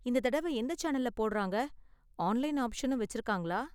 இந்த தடவ எந்த சேனல்ல போடறாங்க, ஆன்லைன் ஆப்ஷனும் வெச்சிருக்காங்களா?